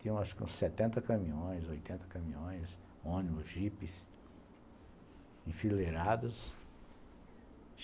Tinha uns setenta caminhões, oitenta caminhões, ônibus, jipes, enfileirados.